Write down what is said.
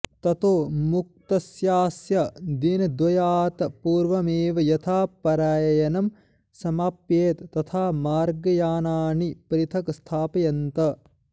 ततो मुक्तस्यास्य दिनद्वयात्पूर्वमेव यथा प्रयाणं समाप्येत तथा मार्गयानानि पृथगस्थाप्यन्त